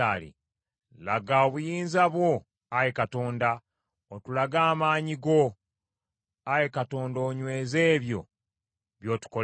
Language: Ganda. Laga obuyinza bwo, Ayi Katonda, otulage amaanyi go, Ayi Katonda onyweze ebyo by’otukoledde.